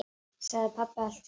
sagði pabbi allt í einu.